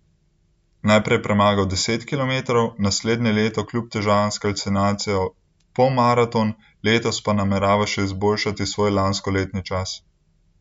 Najprej je premagal deset kilometrov, naslednje leto kljub težavam s kalcinacijo polmaraton, letos pa namerava še izboljšati svoj lanskoletni čas.